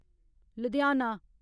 Ludhiana